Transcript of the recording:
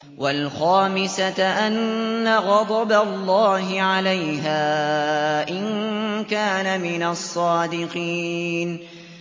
وَالْخَامِسَةَ أَنَّ غَضَبَ اللَّهِ عَلَيْهَا إِن كَانَ مِنَ الصَّادِقِينَ